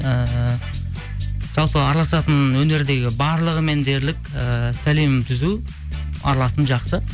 ііі жалпы араласатын өнердегі барлығымен дерлік ііі сәлемім түзу араласым жақсы